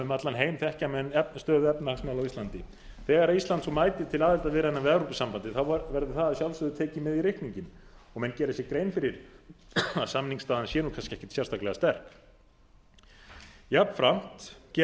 um allan heim þekkja menn stöðu efnahagsmála á íslandi þegar ísland svo mætir til aðildarviðræðna við evrópusambandið verður það að sjálfsögðu tekið með í reikninginn og menn gera sér grein fyrir að samningsstaðan sé kannski ekkert sérstaklega sterk jafnframt gera menn